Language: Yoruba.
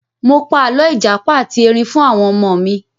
Mo pa àlọ́ ìjàpá ati Ẹrin fún àwọn ọmọ mi.